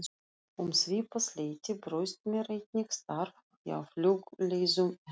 Um svipað leyti bauðst mér einnig starf hjá Flugleiðum en